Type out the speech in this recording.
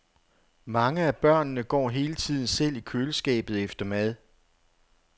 Mange af børnene går hele tiden selv i køleskabet efter mad.